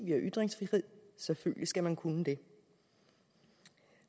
vi har ytringsfrihed selvfølgelig skal man kunne det